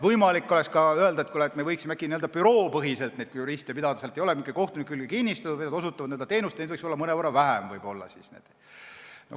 Võimalik oleks ka n-ö büroopõhiliselt neid juriste pidada, nad ei oleks mitte kohtuniku külge kinnistatud, vaid nad osutaksid teenust ja neid võiks siis võib-olla mõnevõrra vähem olla.